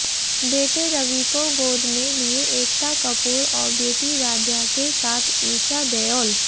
बेटे रवि को गोद में लिए एकता कपूर और बेटी राध्या के साथ ईशा देओल